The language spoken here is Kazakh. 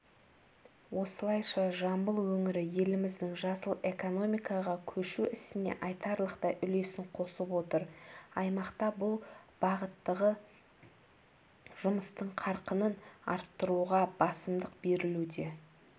осылайша жамбыл өңірі еліміздің жасыл экономикаға көшу ісіне айтарлықтай үлесін қосып отыр аймақта бұл бағыттағы жұмыстың қарқынын арттыруға басымдық берілуде